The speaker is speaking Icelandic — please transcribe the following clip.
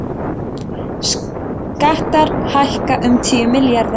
Skattar hækka um tíu milljarða